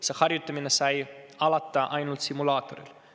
See harjutamine sai alata ainult simulaatoril.